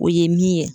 O ye min ye